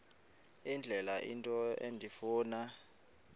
indlela into endifuna